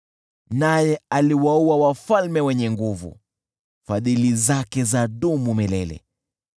Naye aliwaua wafalme wenye nguvu, Fadhili zake zadumu milele .